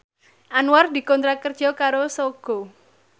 Anwar dikontrak kerja karo Sogo